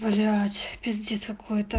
блять пиздец какой-то